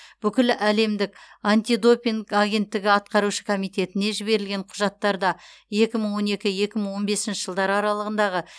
бүкіләлемдік антидопинг агенттігі атқарушы комитетіне жіберілген құжаттарда екі мың он екі екі мың он бесінші жылдар аралығындағы